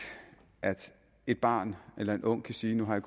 at et barn eller en ung kan sige nu har